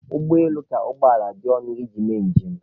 Ụgbọ elu ka ụgbọ ala dị ọnụ iji mee njem.